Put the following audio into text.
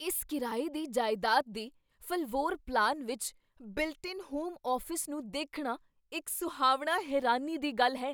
ਇਸ ਕਿਰਾਏ ਦੀ ਜਾਇਦਾਦ ਦੇ ਫ਼ਲਵੋਰ ਪਲਾਨ ਵਿੱਚ ਬਿਲਟ ਇਨ ਹੋਮ ਆਫ਼ਿਸ ਨੂੰ ਦੇਖਣਾ ਇੱਕ ਸੁਹਾਵਣਾ ਹੈਰਾਨੀ ਦੀ ਗੱਲ ਹੈ